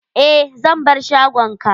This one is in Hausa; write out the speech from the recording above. Eh, zan bar shagon ka.